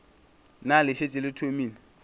na le šetše le thomile